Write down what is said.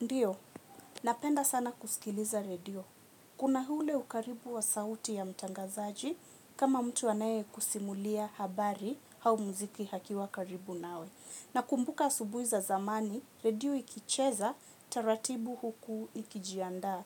Ndiyo, napenda sana kusikiliza redio. Kuna ule ukaribu wa sauti ya mtangazaji kama mtu anaye kusimulia habari au muziki akiwa karibu nawe. Na kumbuka asubuhi za zamani, redio ikicheza taratibu huku ikijiandaa